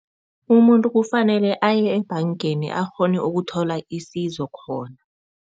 Umuntu kufanele aye ebhangeni akghone ukuthola isizo khona.